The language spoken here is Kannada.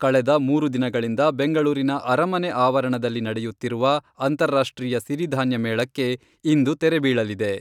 ಕಳೆದ ಮೂರು ದಿನಗಳಿಂದ ಬೆಂಗಳೂರಿನ ಅರಮನೆ ಆವರಣದಲ್ಲಿ ನಡೆಯುತ್ತಿರುವ ಅಂತಾರಾಷ್ಟ್ರೀಯ ಸಿರಿಧಾನ್ಯ ಮೇಳಕ್ಕೆ ಇಂದು ತೆರೆ ಬೀಳಲಿದೆ.